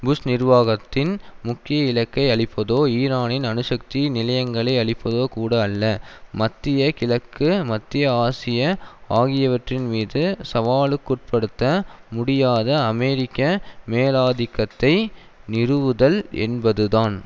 push நிர்வாகத்தின் முக்கிய இலக்கை அழிப்பதோ ஈரானின் அணுசக்தி நிலையங்களை அழிப்பதோ கூட அல்ல மத்திய கிழக்கு மத்திய ஆசிய ஆகியவற்றின்மீது சவாலுக்குட்படுத்த முடியாத அமெரிக்க மேலாதிக்கத்தை நிறுவுதல் என்பதுதான்